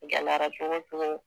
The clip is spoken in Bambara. gɛlɛayara cogo cogo.